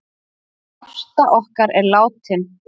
Ásta okkar er látin.